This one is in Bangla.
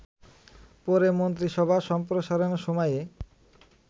পরে মন্ত্রিসভা সম্প্রসারণের সময়ে